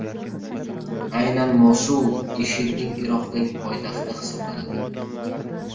Aynan Mosul IShIDning Iroqdagi poytaxti hisoblanadi.